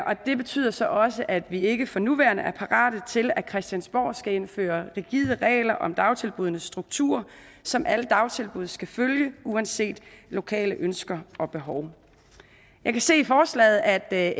det betyder så også at vi ikke for nuværende er parate til at christiansborg skal indføre rigide regler om dagtilbuddenes struktur som alle dagtilbud skal følge uanset lokale ønsker og behov jeg kan se i forslaget at